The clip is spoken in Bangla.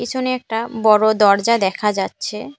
পিছনে একটা বড়ো দরজা দেখা যাচ্ছে।